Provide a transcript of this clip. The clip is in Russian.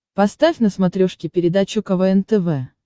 поставь на смотрешке передачу квн тв